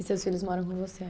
E seus filhos moram com você aí?